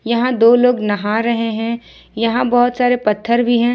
यहां दो लोग नहा रहे हैं यहां बहुत सारे पत्थर भी हैं।